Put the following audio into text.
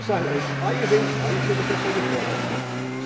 Aí veio, aí chegou o pessoal de fora.